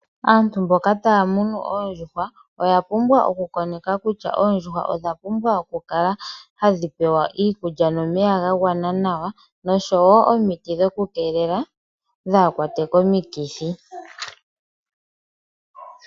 Aantu mboka tay munu oondjuhwa oya pumbwa oku koneka kutya, oondjuhwa odha pumbwa oku kala tadhi pewa okulya nomeyaga gwana nawa, nosho wo omiti dhoku keelela dhaa kwatwe komikithi.